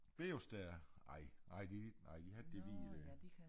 Beostær ej ej de ikke nej de har ikke det hvide dér